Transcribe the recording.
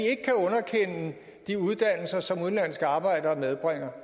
de uddannelser som udenlandske arbejdere medbringer